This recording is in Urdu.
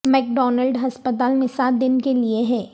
میک ڈونلڈ ہسپتال میں سات دن کے لئے ہے